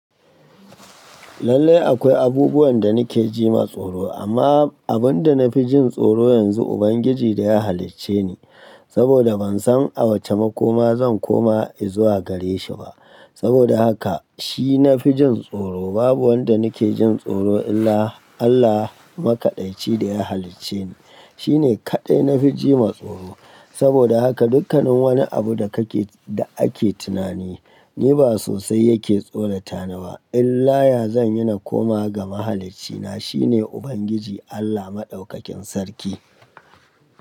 Lallai akwai abubuwan da nake ji matsoro, amma abin da na fi jin tsoro yanzu Ubangiji da ya halicce ni, saboda ban san a wace makoma zan koma izuwa gare shi ba. Saboda haka shi na fi jin tsoro. Babu wanda nake jin tsoro illa Allah makaɗaici da ya halicce ni. Shi ne kaɗai na fi jima tsoro. Saboda haka dukkanin wani abu da kake da ake tunani, ni ba sosai yake tsorata ni ba. Illa ya zan yi na koma ga mahaliccina. Shi ne Ubangiji Allah Madaukakin Sarki.